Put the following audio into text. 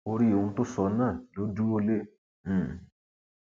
orí ohun tó sọ náà ló dúró lé um